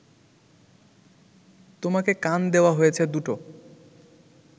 তোমাকে কান দেওয়া হয়েছে দুটো